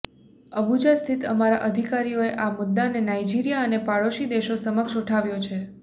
Abuja સ્થિત અમારા અધિકારીઓએ આ મુદ્દાને નાઈજિરીયા અને પડોશી દેશો સમક્ષ ઉઠાવ્યો છે